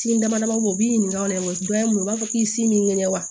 Tin dama dama ko o b'i ɲininka o la dɛ dɔ ye mun ye u b'a fɔ k'i si m'i ŋɛɲɛ wa